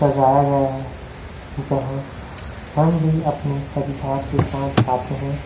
सजाया गया है जहाँ हम भी अपने परिवार के साथ जाते है।